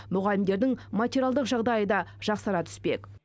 мұғалімдердің материалдық жағдайы да жақсара түспек